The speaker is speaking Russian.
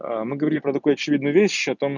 мы говорили про такую очевидную вещь о том